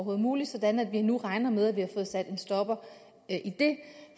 var muligt sådan at vi nu regner med at vi har fået sat en stopper